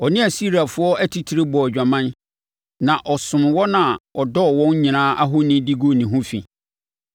Ɔne Asiriafoɔ atitire bɔɔ adwaman, na ɔsomm wɔn a ɔdɔɔ wɔn nyinaa ahoni de guu ne ho fi.